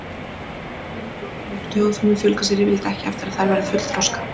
Vöðvafrumur, blóðfrumur og taugafrumur fjölga sér yfirleitt ekki eftir að þær verða fullþroska.